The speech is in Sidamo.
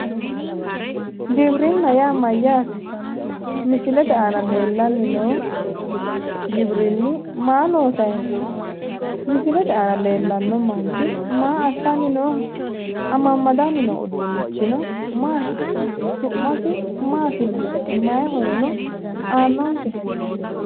Gibirinna yaa mayyaate? misilete aana leellanni noohu gibirinnu maa loosayi no?misilete aana leellanni noo manchi maa assanni nooho?